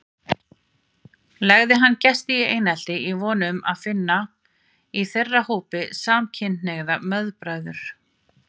Legði hann gesti í einelti í von um að finna í þeirra hópi samkynhneigða meðbræður.